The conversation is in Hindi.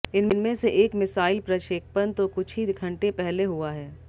इनमें से एक मिसाइल प्रक्षेपण तो कुछ ही घंटे पहले हुआ है